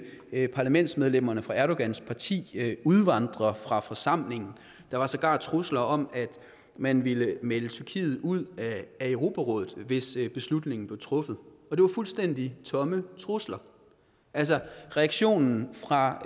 parlamentsmedlemmerne fra erdogans parti udvandre fra forsamlingen der var sågar trusler om at man ville melde tyrkiet ud af europarådet hvis beslutningen blev truffet og det var fuldstændig tomme trusler altså reaktionen fra